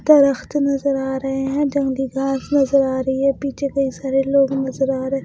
दरख्त नज़र आ रहे हैं जंगली घास नज़र आ रही है पीछे कई सारे लोग नज़र आ रहे हैं।